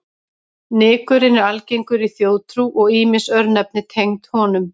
Nykurinn er algengur í þjóðtrú og ýmis örnefni tengd honum.